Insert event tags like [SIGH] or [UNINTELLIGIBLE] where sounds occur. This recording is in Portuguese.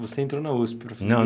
Você entrou na uspe, [UNINTELLIGIBLE] Não